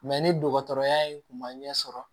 ni dɔgɔtɔrɔya in tun ma ɲɛ sɔrɔ